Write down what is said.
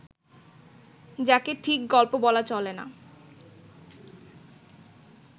যাকে ঠিক গল্প বলা চলে না